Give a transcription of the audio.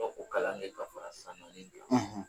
o kalan le ka fara